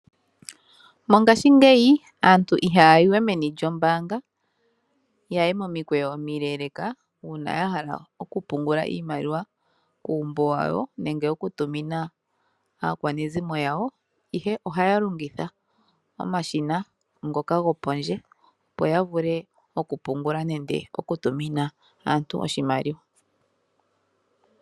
Mongashingeyi aantu ihaya yiwe meni lyoombanga ya ye momikweyo omileleka uuna ya hala okupungula iimaliwa kuumbo wa wo nenge oku tumina aakwanezimo yawo , ihe ohaya longitha omashina ngoka gopondje opo ya vule okupungula nenge okutumina aantu oshimaliwa .